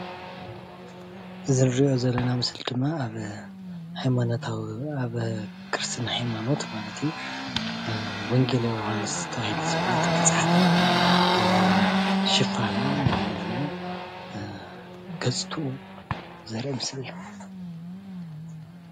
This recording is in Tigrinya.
እዚ እንሪኦ ዘለና ምስላ ድማ ኣብ ሃይማኖታዊ ኣብ ክርስትና ሃይምኖት ማለት እዩ። ወንጌል ዮሃንስ ተባሂሉ ዝፍለ ገፅትኡ ዘርኢ ምስሊ እዩ።